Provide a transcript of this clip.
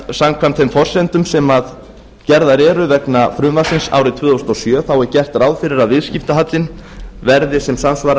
samkvæmt þeim forsendum sem gerðar eru vegna frumvarpsins árið tvö þúsund og sjö er gert ráð fyrir að viðskiptahallinn verði sem samsvarar